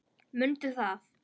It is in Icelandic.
Mundu það!